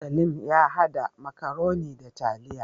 Salim ya hada makaroni da taliya